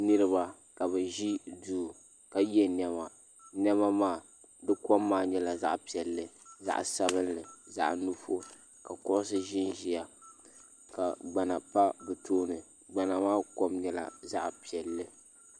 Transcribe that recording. niriba ka bɛ ʒɛ do ka ka yɛ nɛma nɛmaa kom maa nyɛla zaɣ' piɛli zaɣ' sabinli zaɣ' nuɣisu ka kugisi ʒɛn ʒɛya ka gbana pa be tuuni gbana maa kom nyɛla zaɣ' piɛli